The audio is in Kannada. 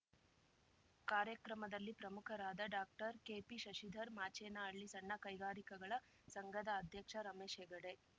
ಕಾರ್ಯಕ್ರಮದಲ್ಲಿ ಪ್ರಮುಖರಾದ ಡಾಕ್ಟರ್ ಕೆಪಿಶಶಿಧರ್ ಮಾಚೇನಹಳ್ಳಿ ಸಣ್ಣ ಕೈಗಾರಿಕೆಗಳ ಸಂಘದ ಅಧ್ಯಕ್ಷ ರಮೇಶ್‌ ಹೆಗಡೆ